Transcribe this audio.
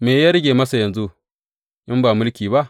Me ya rage masa yanzu, in ba mulki ba?